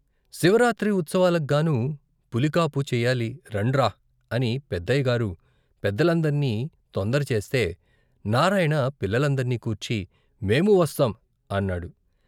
శివరాత్రి ఉత్సవాలగ్గాను పులికాపు చెయ్యాలి రండ్రా అని పెద్దయ్యగారు పెద్దలందర్నీ తొందరచేస్తే నారాయణ పిల్లల్నందర్నీ కూర్చి మేమూ వస్తాం అన్నాడు.